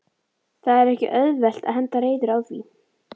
Það er ekki auðvelt að henda reiður á því?